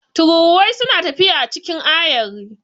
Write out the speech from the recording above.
Tururuwai suna tafiya a cikin ayari.